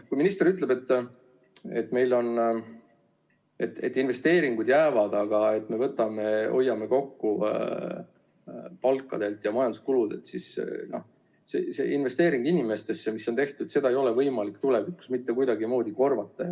Kui minister ütleb, et meil investeeringud jäävad, aga me hoiame kokku palkadelt ja majanduskuludelt, siis investeeringut inimestesse ei ole võimalik tulevikus mitte kuidagi korvata.